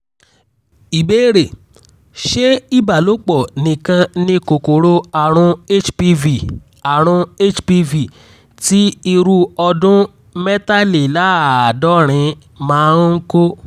ìbéèrè: ṣé ìbálòpọ̀ nìkan ni kòkòrò àrùn hpv àrùn hpv ti irú ọdún mẹ́tàléláàádọ́rin máa ń kó?